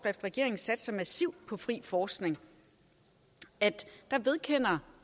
regeringen satser massivt på fri forskning at